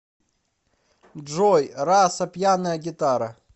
джой раса пьяная гитара